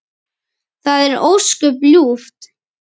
Það er ósköp ljúft.